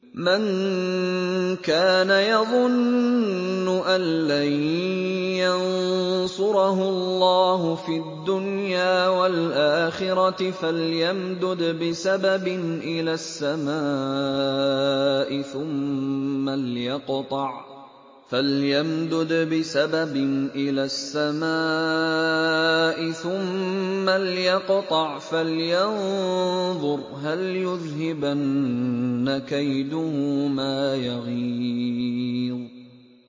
مَن كَانَ يَظُنُّ أَن لَّن يَنصُرَهُ اللَّهُ فِي الدُّنْيَا وَالْآخِرَةِ فَلْيَمْدُدْ بِسَبَبٍ إِلَى السَّمَاءِ ثُمَّ لْيَقْطَعْ فَلْيَنظُرْ هَلْ يُذْهِبَنَّ كَيْدُهُ مَا يَغِيظُ